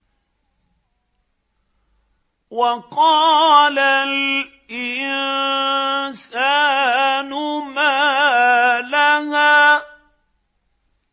وَقَالَ الْإِنسَانُ مَا لَهَا